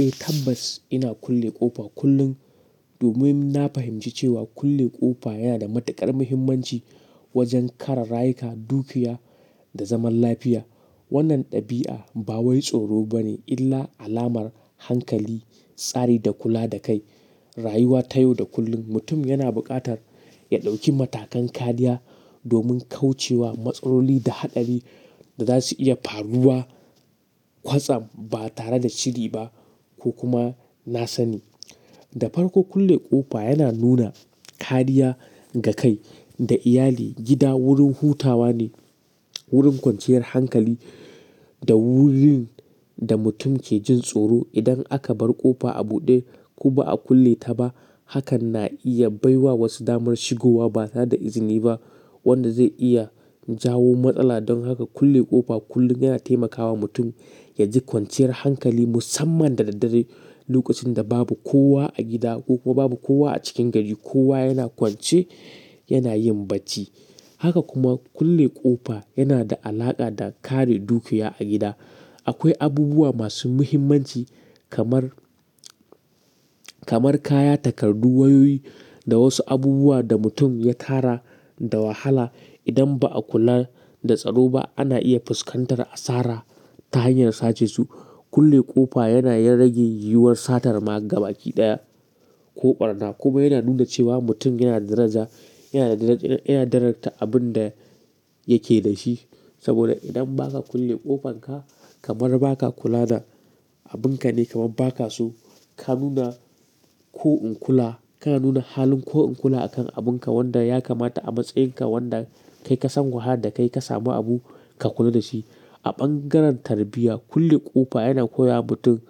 Eh tabbas ina kulle ƙofa kullum domin na fahimci cewa kulle ƙofa yana da matuƙar muhimmanci wajen kare rayuka, dukiya da zaman lafiya. Wannan ɗabi'a ba wai tsoro ba ne illa alamar hankali, tsari da kula da kai. Rayuwa ta yau da kullun mutum yana buƙatar ya ɗauki matakan kariya domin kauce wa matsaroli da haɗari da za su iya faruwa kwatsam ba tare da shiri ba ko kuma na sani. Da farko kulle ƙofa yana nuna kariya ga kai da iyali. Gida wurin hutawa ne, wurin kwanciyar hankali da wurin da mutum ke jin tsoro. Idan aka bar ƙofa a buɗe ko ba a kulle ta ba, hakan na iya baiwa wasu damar shigowa ba tare da izini ba wanda zai iya jawo matsala. Don haka kulle ƙofa kullum yana taimakawa mutum ya ji kwanciyar hankali musamman da dare lokacin da babu kowa a gida ko babu kowa a cikin gari. Kowa yana kwance yana yin bacci. Haka kuma kulle ƙofa yana da alaƙa da kare dukiya a gida. Akwai abubuwa masu muhimmanci kamar, kamar kaya, takardu, wayoyi da wasu abubuwa da mutum ya tara da wahala. Idan ba a kula da tsaro ba ana iya fuskantar asara ta hanyar sace su. Kulle ƙofa yana rage yiwuwar satar maka gabaɗaya ko ɓarna kuma yana nuna cewa mutum yana daraja, yana daraja, yana darajanta abin da yake da shi. Saboda idan ba ka kulle ƙofan ka kamar ba ka kula da abin ka ne kamar ba ka so ka nuna ko in kula, ka nuna halin ko in kula akan abin ka wanda ya kamata a matsayin ka wanda kai ka san wahala da kai ka samu abu ka kula da shi. A bangaren tarbiyya kulle ƙofa yana koya wa mutum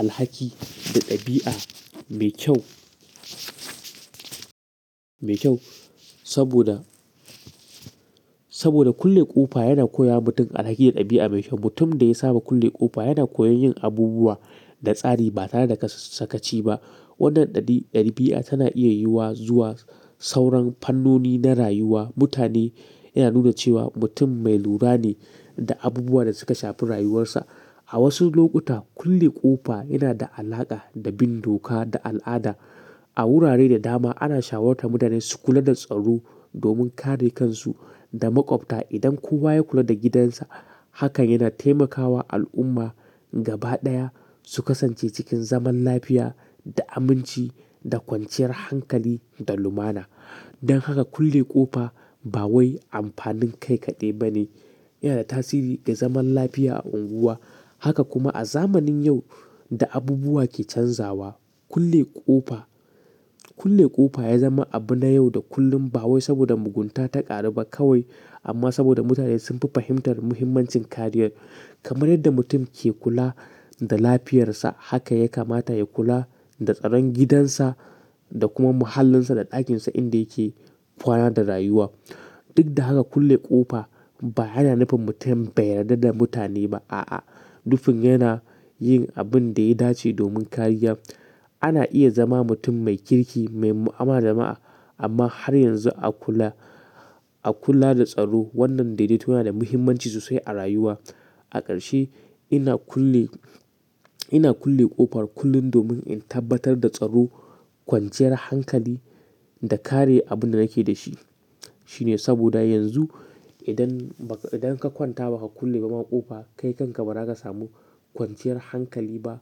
alhaki da ɗabi'a mai kyau, mai kyau saboda, saboda kulle ƙofa yana koya wa mutum alhaki da ɗabi'a mai kyau. Mutum da ya saba kulle ƙofa yana koyon yin abubuwa da tsari ba tare da kasasaci ba. Wannan ɗabi'a tana iya yiwuwa zuwa sauran fannoni na rayuwa. Mutane yana nuna cewa mutum mai lura ne da abubuwa da suka shafi rayuwarsa. A wasu lokuta kulle ƙofa yana da alaƙa da bin doka da al'ada. A wurare da dama ana shawarar mutane su kula da tsaro domin kare kansu da maƙwabta. Idan kowa ya kula da gidansa hakan yana taimakawa al'umma gabaɗaya su kasance cikin zaman lafiya da aminci da kwanciyar hankali da lumana. Don haka kulle ƙofa ba wai amfanin kai kaɗai ba ne. Yana da tasiri ga zaman lafiya a unguwa. Haka kuma a zamanin yau da abubuwa ke canzawa kulle ƙofa, kulle ƙofa ya zama abu na yau da kullun ba wai saboda mugunta ta ƙaru ba kawai amma saboda mutane sun fi fahimtar muhimmancin kariyar. Kamar yadda mutum ke kula da lafiyarsa haka ya kamata ya kula da tsaron gidansa da kuma mahallinsa da ɗakinsa inda yake kwana da rayuwa. Duk da haka kulle ƙofa ba yana nufin mutum bai yarda da mutane ba. A'a, dufin yana yin abin da ya dace domin kariya. Ana iya zama mutum mai kirki, mai mu'amalar jama'a amma har yanzu a kula, a kula da tsaro. Wannan dai dai tana da muhimmanci sosai a rayuwa. A ƙarshe ina kulle, ina kulle ƙofar kullum domin in tabbatar da tsaro, kwanciyar hankali da kare abin da nake da shi. Shine saboda yanzu idan ba ka, idan ka kwanta ba ka kulle ba ma ƙofa kai kanka ba za ka samu kwanciyar hankali ba.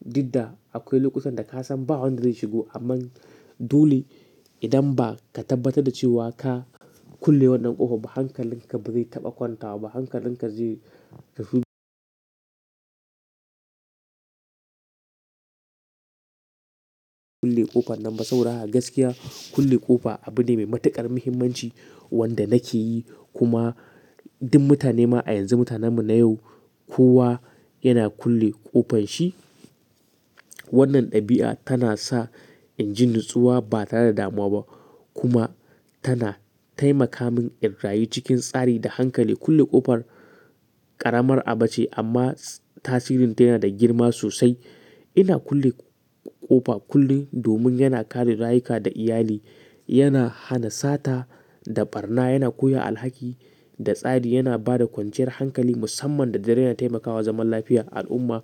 Duk da akwai lokutan da ka san ba wanda zai shigo amma dole idan ba ka tabbatar da cewa ka kulle wannan ƙofa ba hankalin ka ba zai taɓa kwanta ba. Hankalin ka zai kulle ƙofa nan ba saura. A gaskiya kulle ƙofa abu ne mai matuƙar muhimmanci wanda nake yi. Kuma duk mutane ma a yanzu mutanenmu na yau kowa yana kulle ƙofan shi. Wannan ɗabi'a tana sa in ji natsuwa ba tare da damuwa ba kuma tana taimaka min in rayu cikin tsari da hankali. Kulle ƙofar ƙaramar abu ce amma tasirin tana da girma sosai. Ina kulle ƙofa kullum domin yana kare rayuka da iyali, yana hana sata da ɓarna, yana koya alhaki da tsari, yana ba da kwanciyar hankali musamman da dare yana taimakawa zaman lafiya a al'umma.